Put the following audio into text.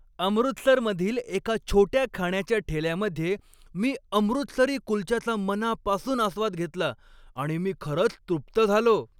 अमृतसरमधील एका छोट्या खाण्याच्या ठेल्यामध्ये मी अमृतसरी कुलच्याचा मनापासून आस्वाद घेतला. आणि मी खरंच तृप्त झालो.